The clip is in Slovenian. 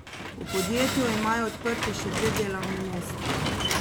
V podjetju imajo odprti še dve delovni mesti.